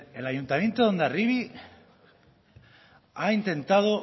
el ayuntamiento de hondarribi ha intentado